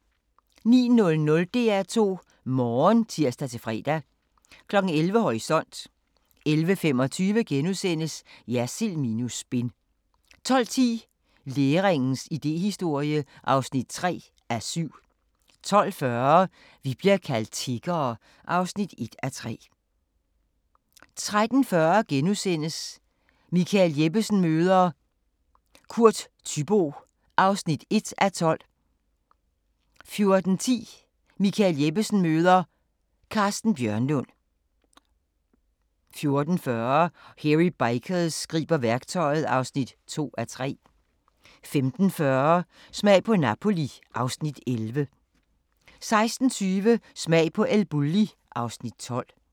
09:00: DR2 Morgen (tir-fre) 11:00: Horisont 11:25: Jersild minus spin * 12:10: Læringens idéhistorie (3:7) 12:40: Vi bliver kaldt tiggere (1:3) 13:40: Michael Jeppesen møder ... Kurt Thyboe (1:12)* 14:10: Michael Jeppesen møder ... Carsten Bjørnlund 14:40: Hairy Bikers griber værktøjet (2:3) 15:40: Smag på Napoli (Afs. 11) 16:20: Smag på El Bulli (Afs. 12)